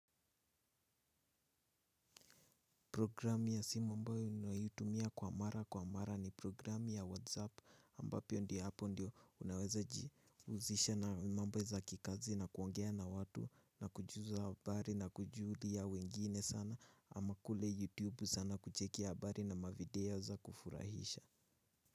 Programu ya simu ambao ninayotumia kwa mara kwa mara ni programu ya whatsapp ambapo ndio hapo ndio unaweza jihusisha na mambo za kikazi na kuongea na watu na kujuza habari na kujulia wengine sana ama kule youtube sana kucheki habari na mavideo za kufurahisha.